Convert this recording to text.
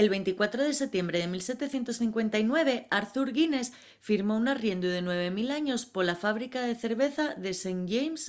el 24 de setiembre de 1759 arthur guinness firmó un arriendu de 9 000 años pola fábrica de cerveza de st james'